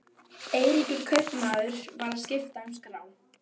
Eiríkur kaupmaður var að skipta um skrá.